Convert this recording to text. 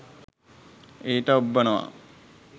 ඊට ඔබ්බනවා.